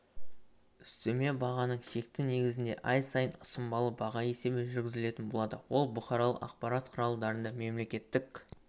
үстеме бағаның шекті негізінде ай сайын ұсынбалы баға есебі жүргізілетін болады ол бұқаралық ақпарат құралдарында мемлекеттік